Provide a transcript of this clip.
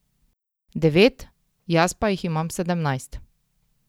Devet, jaz pa jih imam sedemnajst.